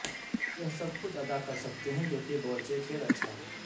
یہ سب کچھ ادا کر سکتے ہیں کیونکہ بورچے کھیل اچھا ہے